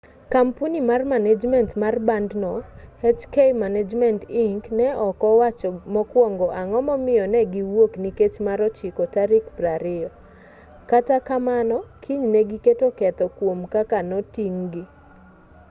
kampuni mar manejment mar bandno hk management inc. ne ok owacho mokuongo ang'o momiyo ne gi wuok nikech mar ochiko tarik 20 kata kamano kinyne giketo ketho kuom kaka noting'-gi